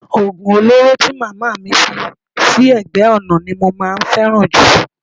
Oògùn olóró tí màmá mi fi sí ẹ̀gbẹ́ ọ̀nà ni mo máa ń fẹ́ràn jù